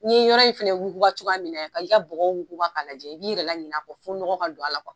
N'i ye yɔrɔ in fana wuguba cogoya min, i k'a bɔgɔw wuguba k'a lajɛ i b'i yɛrɛ ɲinɛ a kɔ fɔ nɔgɔ ka don a la kuwa.